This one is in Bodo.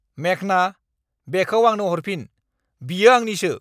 मेघना, बेखौ आंनो हरफिन। बियो आंनिसो!